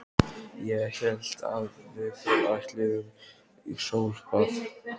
Ég hélt að við ætluðum í sólbað!